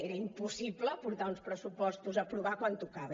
era impossible portar uns pressupostos a aprovar quan tocava